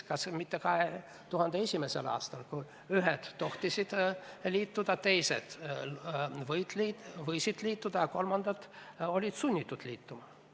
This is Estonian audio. Kas mitte 2001. aastal, kui ühed tohtisid liituda, teised võisid liituda, aga kolmandad olid sunnitud liituma?